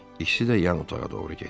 İkisi də yan otağa doğru getdi.